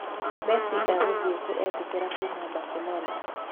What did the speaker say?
Masi egũthiĩ-kũ etĩkĩrĩka kuuma Baselona?